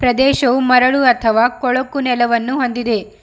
ದೇಶವು ಮರಳು ಅಥವಾ ಕೊಳಕು ನೆಲವನ್ನು ಹೊಂದಿದೆ.